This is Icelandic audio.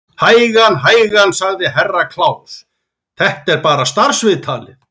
Hægan, hægan, sagði Herra Kláus, þetta er bara starfsviðtalið.